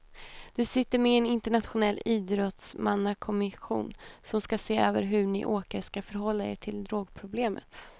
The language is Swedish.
Du sitter med i en internationell idrottsmannakommission som ska se över hur ni åkare ska förhålla er till drogproblemet.